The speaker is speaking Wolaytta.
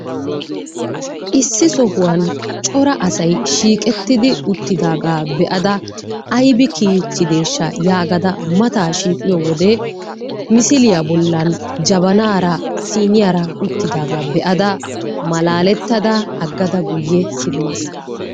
Issi sohuwan cora asay shiiqettidi uttidaaga be'ada aybbi kiyichideesha yaagada mataa shiiqiyo wode misiliya bolan jabanaara siiniyara uttidaagaa be'ada malaaletada agada guye simaas.